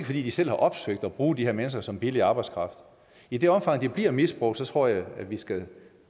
fordi de selv har opsøgt det at bruge de her mennesker som billig arbejdskraft i det omfang det bliver misbrugt tror jeg vi skal